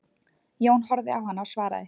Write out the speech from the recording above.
Jón horfði á hana og svaraði